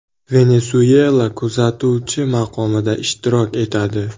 Venesuyela kuzatuvchi maqomida ishtirok etadi.